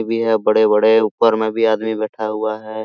भी है बड़े-बड़े ऊपर में भी आदमी बैठा हुआ है।